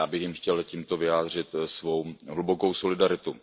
Já bych jim chtěl tímto vyjádřit svou hlubokou solidaritu.